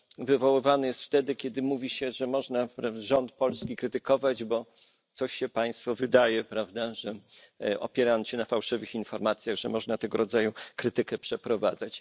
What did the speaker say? wywoływany jest wtedy, kiedy mówi się, że można rząd polski krytykować, bo coś się państwu wydaje, że opierając się na fałszywych informacjach, można tego rodzaju krytykę przeprowadzać.